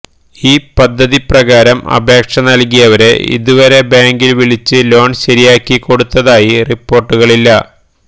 ഈ പദ്ധതി പ്രകാരം അപേക്ഷ നല്കിയവരെ ഇതുവരെ ബാങ്ക് വിളിച്ച് ലോണ് ശരിയാക്കി കൊടുത്തതായി റിപ്പോര്ട്ടുകളില്ല